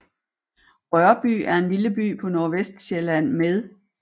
Rørby er en lille by på Nordvestsjælland med